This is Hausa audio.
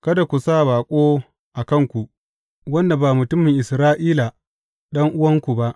Kada ku sa baƙo a kanku, wanda ba mutumin Isra’ila ɗan’uwanku ba.